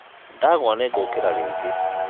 ndagwa nĩngũkĩra rĩngĩ